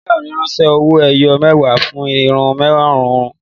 Ìyá rẹ ńsan owó ẹyọ mẹwa fún iṣu márùn-ún